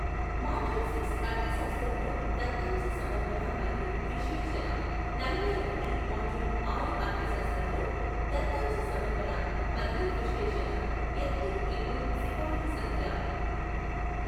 module six అర్థశాస్త్రంలో దత్తాంశ సమర్పణ మరియు విశ్లేషణ నలభై ఒకటి మాడ్యూల్ ఆరు అర్థశాస్త్రంలో దత్తాంశ సమర్పణ మరియు విశ్లేషణ ఎత్తు ఇంటు సిపాయిల సంఖ్య